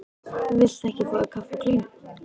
Viltu ekki fá þér kaffi og kleinu?